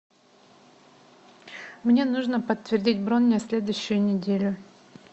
мне нужно подтвердить бронь на следующую неделю